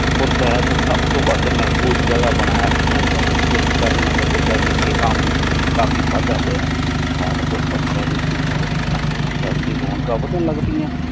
ਅਨੰਦੁ ਪੁਰ ਸਾਹਿਬ ਨੂ ਸਬ ਤੂ ਮਹਫੂਜ਼ ਜਗਾ ਬਨਾਯਾ ਡਿਟ ਆਗਯਾ ਸੀ ਜਿਸ ਕਾਰਨਅਨੰਦਪੁਰ ਸਾਹਿਬ ਵਿਖੇ ਆਮਦ ਵਿਚ ਕਾਫੀ ਵਾਦਾ ਹੋਯਾ ਅਠਾਰਾਂ ਸੋ ਪੰਦਰਾਂ ਵਿਚ ਅਨੰਦੁਪੁਰ ਸਾਹਿਬ ਦੇ ਰੋੰਕ਼ਾਂ ਵਧਣ ਲਾਗਪੀਆਂ।